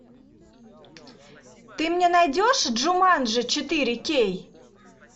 ты мне найдешь джуманджи четыре кей